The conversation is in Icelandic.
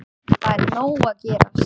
Það er nóg að gerast.